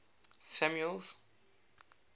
samuel's